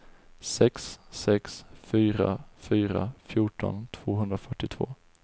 sex sex fyra fyra fjorton tvåhundrafyrtiotvå